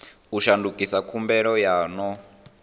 u shandukisa khumbelo yo no